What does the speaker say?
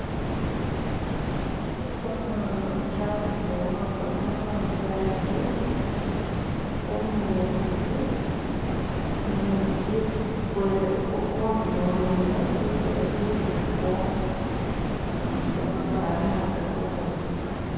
umuntu asudile humuhono mungaji humezi, humezi huntulo hwene bisolo biligako nigamabaale nago gahuboneka